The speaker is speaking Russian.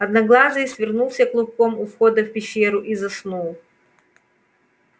одноглазый свернулся клубком у входа в пещеру и заснул